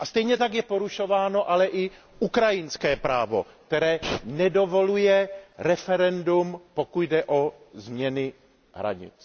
A stejně tak je porušováno ale i ukrajinské právo, které nedovoluje referendum, pokud jde o změny hranic.